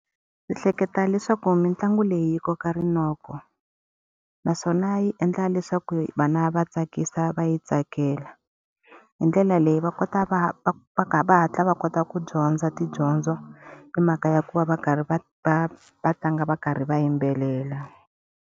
Ndzi ehleketa leswaku mitlangu leyi yi koka rinoko. Naswona yi endla leswaku vana va tsakisa va yi tsakela. Hi ndlela leyi va kota va va va va hatla va kota ku dyondza tidyondzo hi mhaka ya ku va va karhi va va va tlanga va karhi va yimbelela.